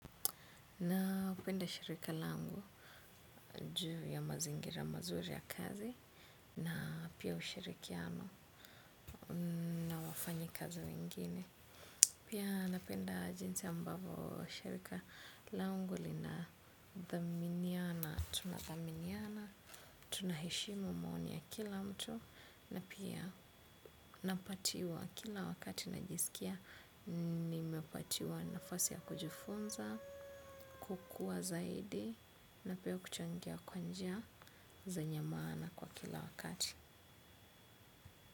Napenda shirika langu juu ya mazingira mazuri ya kazi na pia ushirikiano na wafanyikazi wengine. Pia napenda jinsi ambavyo shirika langu lina dhaminiana, tuna dhaminiana, tunaheshimu maoni ya kila mtu na pia napatiwa kila wakati najisikia. Nimepatiwa nafasi ya kujifunza kukua zaidi na pia kuchangia kwa njia zenye maana kwa kila wakati.